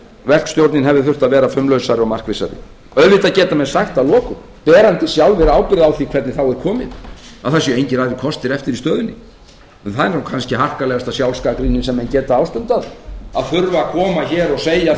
verkstjórnin hefði þurft að vera fumlausari og marklausari auðvitað geta menn sagt að lokum berandi sjálfir ábyrgð á því hvernig á er komið að það séu engir aðrir kostir eftir í stöðunni en það er kannski harkalegasta að sjálfsgagnrýnin sem menn geta ástundað að þurfa að koma hér og segja